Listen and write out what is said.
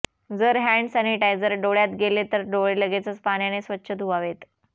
जर hand sanitizer डोळ्यात गेले तर डोळे लगेचच पाण्याने स्वच्छ धुवावेत